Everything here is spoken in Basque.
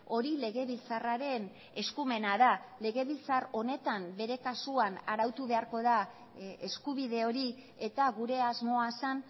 hori legebiltzarraren eskumena da legebiltzar honetan bere kasuan arautu beharko da eskubide hori eta gure asmoa zen